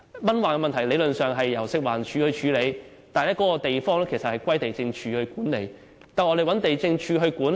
蚊患問題理論上由食物環境衞生署處理，但該處卻歸地政總署管理。